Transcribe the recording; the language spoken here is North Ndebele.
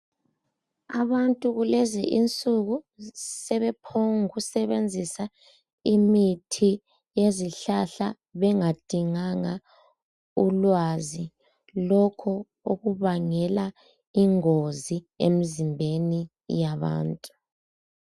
Abantu kulezi insuku sebephongu kusebenzisa imithi yezihlahla bengadinganga ulwazi, lokho okubangela ingozi emzimbeni yabantu.